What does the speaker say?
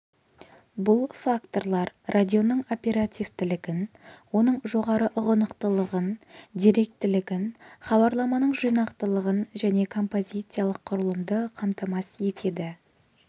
бұл факторлар радионың оперативтілігін оның жоғары ұғынықтылығын деректілігін хабарламаның жинақылығын және композициялық құрылымды қамтамасыз етеді